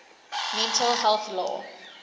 mental health law